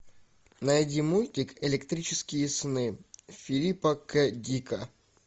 найди мультик электрические сны филипа к дика